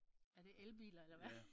Er det elbiler eller hvad?